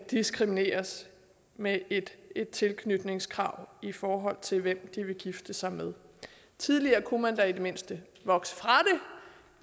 diskrimineres med et et tilknytningskrav i forhold til hvem de vil gifte sig med tidligere kunne man da i det mindste vokse fra